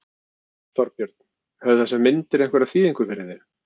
Þorbjörn: Höfðu þessar myndir einhverja þýðingu fyrir þig?